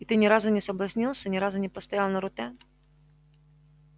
и ты не разу не соблазнился ни разу не поставил на руте